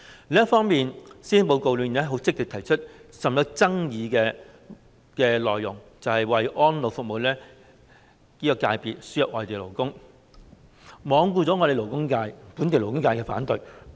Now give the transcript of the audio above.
另一方面，施政報告很積極地提出甚具爭議的內容，那就是為安老服務界別輸入外地勞工，罔顧本地勞工界的反對聲音。